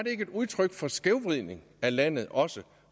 et udtryk for skævvridning af landet også